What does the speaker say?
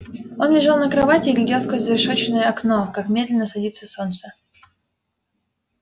он лежал на кровати и глядел сквозь зарешеченное окно как медленно садится солнце